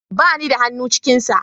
Ba ni da hannu cikin sa